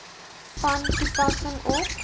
van toepassing op